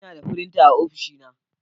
Ina da firinta a ofishina.